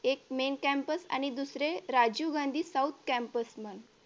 एक main campus आणि दुसरे राजीव गांधी south campus म्हणून